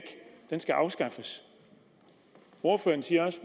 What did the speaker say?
den skal afskaffes ordføreren siger også